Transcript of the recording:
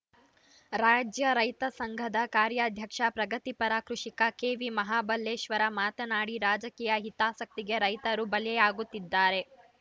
ರಾಜ್ಯ ರೈತಸಂಘದ ಕಾರ್ಯಾಧ್ಯಕ್ಷ ಪ್ರಗತಿಪರ ಕೃಷಿಕ ಕೆವಿಮಹಾಬಲೇಶ್ವರ ಮಾತನಾಡಿ ರಾಜಕೀಯ ಹಿತಾಸಕ್ತಿಗೆ ರೈತರು ಬಲಿಯಾಗುತ್ತಿದ್ದಾರೆ